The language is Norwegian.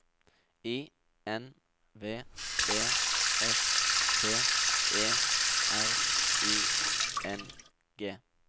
I N V E S T E R I N G